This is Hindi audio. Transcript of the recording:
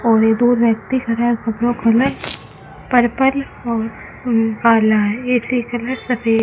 और ये दो व्यक्ति खरा है कपरा खोलें पर्पल और उं कला इसकी कलर सफेद --